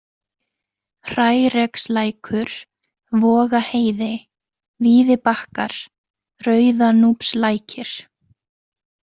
Hrærekslækur, Vogaheiði, Víðibakkar, Rauðanúpslækir